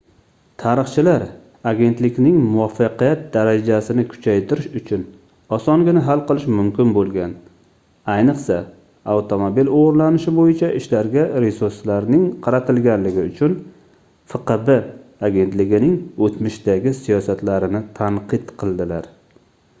tarixchilar agentlikning muvaffaqiyat darajasini kuchaytirish uchun osongina hal qilish mumkin boʻlgan ayniqsa avtomobil oʻgʻrilanishi boʻyicha ishlarga resurslarning qaratilganligi uchun fqb agentligining oʻtmishdagi siyosatlarini tanqid qildilar